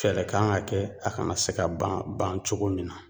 Fɛɛlɛ kan ka kɛ a kana se ka ban bancogo min na.